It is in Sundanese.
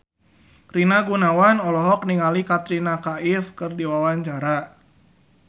Rina Gunawan olohok ningali Katrina Kaif keur diwawancara